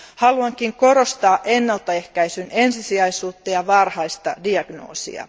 Haluankin korostaa ennaltaehkäisyn ensisijaisuutta ja varhaista diagnoosia.